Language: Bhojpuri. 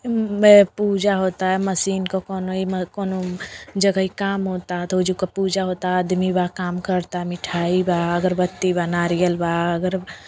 पूजा होता। मशीन क कोनो ई म कोनो जगही काम होता तो ओजू क पूजा होता। आदमी बा। काम करता। मिठाई बा अगरबत्ती बा नारियल बा। अगर --